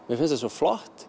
mér fannst það svo flott